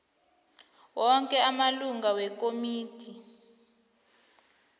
woke amalungu wekomidi